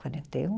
Quarenta e um?